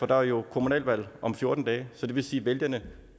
der er jo kommunalvalg om fjorten dage så det vil sige at vælgerne